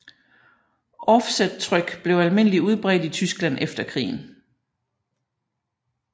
Offsettryk blev almindelig udbredt i Tyskland efter krigen